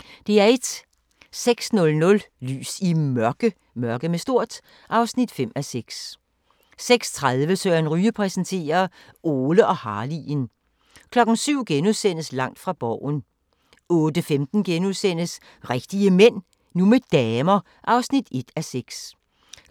06:00: Lys i Mørke (5:6) 06:30: Søren Ryge præsenterer: Ole og Harley'en 07:00: Langt fra Borgen * 08:15: Rigtige Mænd – nu med damer (1:6)*